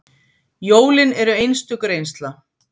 Jólin eru einstök reynsla